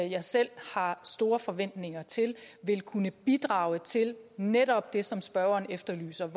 jeg selv har store forventninger til vil kunne bidrage til netop det som spørgeren efterlyser